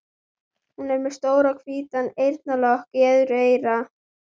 Hún er með stóran hvítan eyrnalokk í öðru eyra.